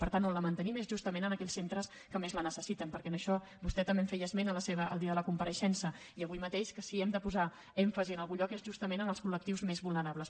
per tant on la mantenim és justament en aquells centres que més la necessiten perquè en això vostè també en feia esment el dia de la compareixença i avui mateix que si hem de posar èmfasi en algun lloc és justament en els col·lectius més vulnerables